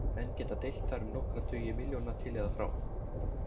Menn geta deilt þar um nokkra tugi milljóna til eða frá.